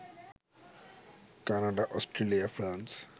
Canada, Australia, France